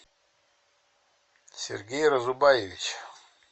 сергей разубаевич